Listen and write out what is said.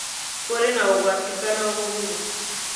Kũrĩ na ũgwati kana ũguni?